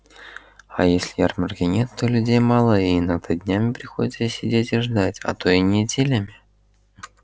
а если ярмарки нет то людей мало и иногда днями приходится сидеть и ждать а то и неделями